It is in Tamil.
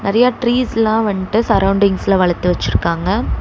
நெறைய டிரீஸ்லா வண்டு சரவுண்டிங்ஸ்ல வளத்து வெச்சுருக்காங்க.